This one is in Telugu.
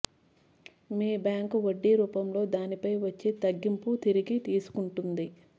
మీ బ్యాంకు వడ్డీ రూపంలో దానిపై వచ్చే తగ్గింపును తిరిగి తీసుకుంటుంది